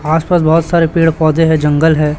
आसपास बहोत सारे पेड़ पौधे हैं जंगल हैं।